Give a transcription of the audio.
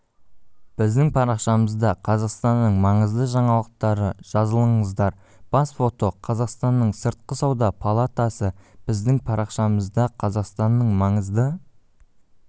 біздің парақшамызда қазақстанның маңызды жаңалықтары жазылыңыздар бас фото қазақстанның сыртқы сауда палатасы біздің парақшамызда қазақстанның маңызды